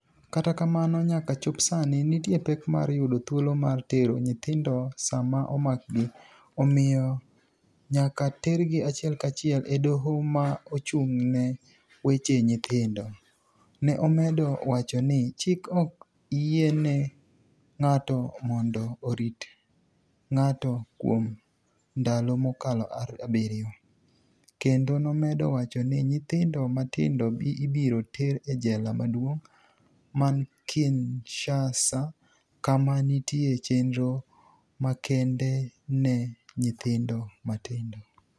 Kata kamano, niyaka chop sanii, niitie pek mar yudo thuolo mar tero niyithinidogo sama omakgi, omiyo niyaka tergi achiel kachiel e dohoma ochunig' ni e weche niyithinido. ni e omedo wacho nii chik ok yieni nig'ato monido orit nig'ato kuom nidalo mokalo abiriyo, kenido nomedo wacho nii niyithinido matinido ibiro ter e jela maduonig ' mani Kinishasa kama niitie cheniro makenide ni e niyithinido matinido.